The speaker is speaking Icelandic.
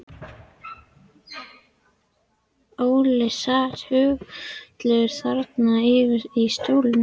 Óli sat haugfullur þarna yfir í stólnum og kinkaði kolli.